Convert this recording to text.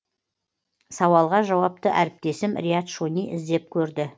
сауалға жауапты әріптесім риат шони іздеп көрді